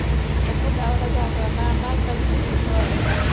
ਤੇ ਮੁੰਡਾ ਓਹਦਾ ਜਾ ਕੇ ਕਹਿੰਦਾ ਆਂਦਾ uncle ਜੀ ਤੁਸੀਂ ਕਿਥੋਂ ਆਏ ਜੇ।